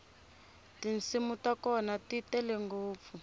tinsimu ta kona ti tele ngopfu